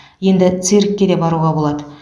енді циркке де баруға болады